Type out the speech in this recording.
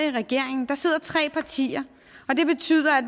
i regeringen der sidder tre partier og det betyder at